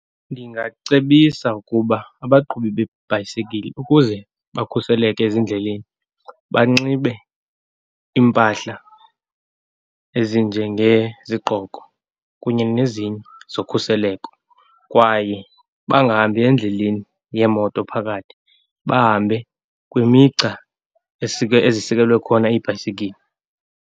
Ndingacebisa ukuba abaqhubi bebhayisikile, ukuze bakhuseleke ezindleleni banxibe impahla ezinjengezigqoko kunye nezinye zokhuseleko, kwaye bangahambi endleleni yemoto phakathi. Bahambe kwimigca ezisikelwe khona iibhayisikili.